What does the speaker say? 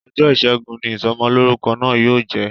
Ọjọ́ ìṣẹ́gun ni Ìsọmọlọ́rúkọ náà yóò jẹ